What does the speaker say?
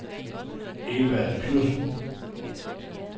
Evald Knudsen